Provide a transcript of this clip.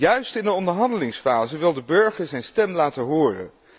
Juist in de onderhandelingsfase wil de burger zijn stem laten horen.